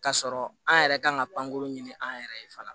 K'a sɔrɔ an yɛrɛ kan ka pankuru ɲini an yɛrɛ ye fana